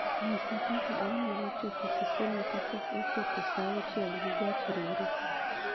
nyisa kaka anyalo chopo kisumu kapok ochopo sauchiel gi gach reru